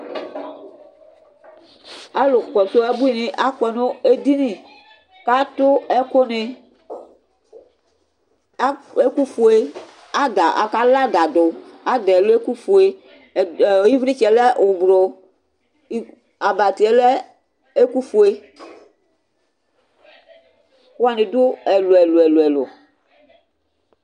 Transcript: Alʋ kɔsʋ abuini akɔnʋ edini, kʋ atʋ ɛkʋni ɛkʋfue kʋ alaadadʋ, ɛkʋfue kʋ ilitsɛlɛ ʋblʋ abatiyɛ lɛ ɛkʋfue, ɛkʋwani dʋ ɛlʋ ɛlʋ ɛlʋ